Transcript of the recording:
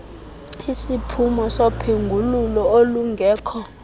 isiphumo sophengululo olungekho